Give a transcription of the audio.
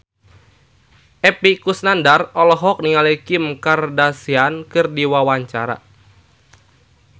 Epy Kusnandar olohok ningali Kim Kardashian keur diwawancara